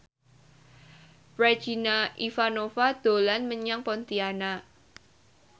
Regina Ivanova dolan menyang Pontianak